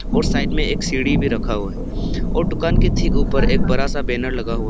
और साइड में एक सीढ़ी भी रखा हुआ है और दुकान के ठीक ऊपर एक बड़ा सा बैनर लगा हुआ है।